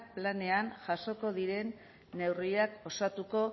planean jasoko diren neurriak osatuko